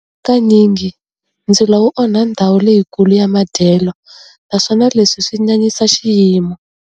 Hakanyingi ndzilo wu onha ndhawu leyikulu ya madyelo naswona leswi swi nyanyisa xiyimo.